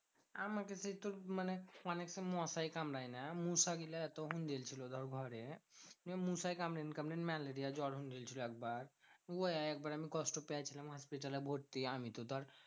আমাকে সেই তোর মানে মশাই কামরায় না মশাগুলা তখন ধর ঘরে। মশায় কামড়ে malaria জ্বর হয়ে গেছিলো একবার। উ একবার আমি কষ্ট পেয়েছিলাম হসপিটালে ভর্তি। আমি তো ধর